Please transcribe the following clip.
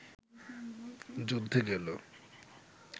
যুদ্ধে গেল